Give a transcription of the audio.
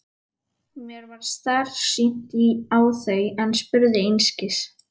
Mér varð starsýnt á þau en spurði einskis.